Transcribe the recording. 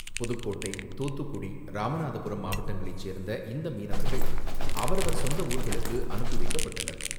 புதுக்கோட்டை, தூத்துக்குடி, ராமநாதபுரம் மாவட்டங்களைச் சேர்ந்த இந்த மீனவர்கள் அவரவர் சொந்த ஊர்களுக்கு அனுப்பிவைக்கப்பட்டனர்.